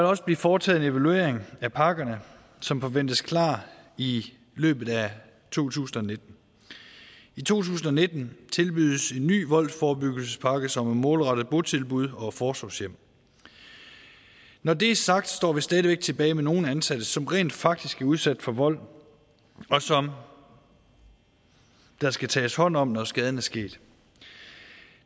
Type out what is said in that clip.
også blive foretaget en evaluering af pakkerne som forventes klar i løbet af to tusind og nitten i to tusind og nitten tilbydes en ny voldsforebyggelsespakke som er målrettet botilbud og forsorgshjem når det er sagt står vi stadig væk tilbage med nogle ansatte som rent faktisk er udsat for vold og som der skal tages hånd om når skaden er sket